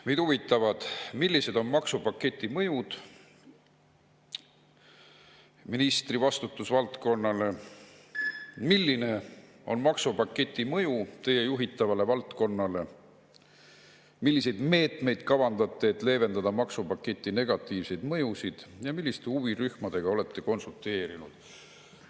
Meid huvitab, millised on maksupaketi mõjud ministri vastutusvaldkonnale, milline on maksupaketi mõju ministri juhitavale valdkonnale ning milliseid meetmeid ta kavandab, et leevendada maksupaketi negatiivseid mõjusid, ja milliste huvirühmadega on ta konsulteerinud.